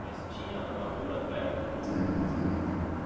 Mas tinha lavoura perto do... Sim, sim, sim.